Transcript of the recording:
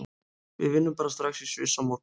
Við vinnum bara strax í Sviss á morgun.